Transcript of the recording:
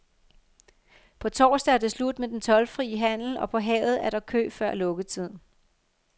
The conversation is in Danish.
På torsdag er det slut med den toldfri handel, og på havet er der kø før lukketid.